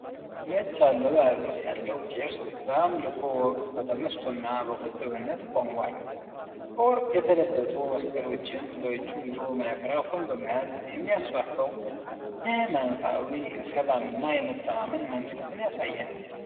ነጭ አለባበስ ያለው ቄስ በአምልኮ ወቅት በተመስጦና በቁጥብነት ቆሟል። በወርቅ የተለበጡ መስቀሎችን በእጁ ይዞ ማይክራፎን በመያዝ የሚያስፋፋው የኃይማኖታዊ ሰላምና የመተማመን መንፈስ ያሳያል።